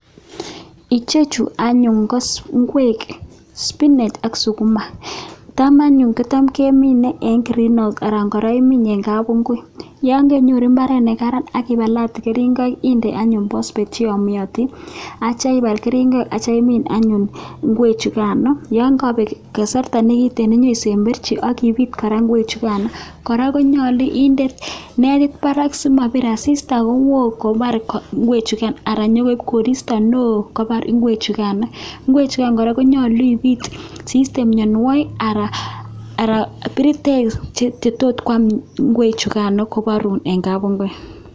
Ichechu anyun ko ingwek spinach ak sukuma, tam anyun kocham kemine eng green house anan kora imin eng kapungui. Yon kenyoru imbaaret ne kararan aki palate keringoik inde anyun phosphate che yomotin atyo ipaal keringet atyo imiin anyun ingwechukano, yon kabeek kasarta nekitiin ipesemberchi ak ipiit kora ingwechukano. Kora konyolu inde kora netit barak simabiir asista kou kobaar ingwechukan anan nyokoip koristo neo nyo kobaar ingwechukan, ingwechukan kora konyolu ipiit si iste mianwokik anan piritek che tot kwaam ingwechukano kobaarun ingwek.